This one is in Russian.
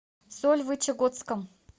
сольвычегодском